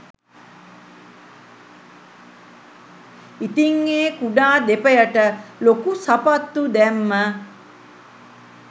ඉතිං ඒ කුඩා දෙපයට ලොකු සපත්තු දැම්ම